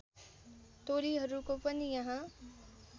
टोलीहरूको पनि यहाँ